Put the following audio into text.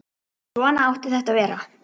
Svona átti þetta að vera.